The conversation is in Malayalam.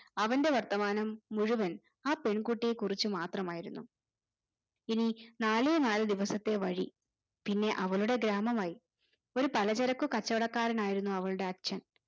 അവന്റെ വർത്തമാനം മുഴുവൻ ആ പെൺകുട്ടിയെ കുറിച്ച് മാത്രമായിരുന്നു എനി നാലേ നാല് ദിവസത്തെ വഴി പിന്നെ അവളുടെ ഗ്രാമമായി ഒര് പലചരക്കു കച്ചവടക്കാരനായിരുന്നു അവളുടെ അച്ഛൻ